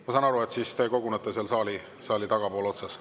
Ma saan aru, et te kogunete saali tagapool otsas.